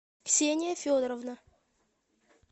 ксения федоровна